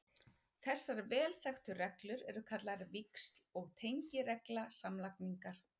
Þessar vel þekktu reglur eru kallaðar víxl- og tengiregla samlagningar.